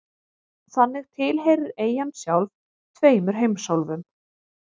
Þannig tilheyrir eyjan sjálf tveimur heimsálfum.